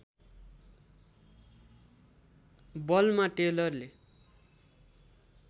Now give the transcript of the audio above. बलमा टेलरले